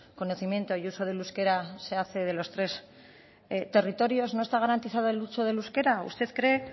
conocimiento y uso del euskera se hace de los tres territorios no está garantizado el uso del euskera usted cree